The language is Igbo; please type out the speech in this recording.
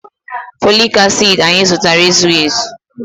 Folic acid anyị zụtara ezughị ezu.